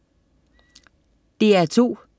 DR2: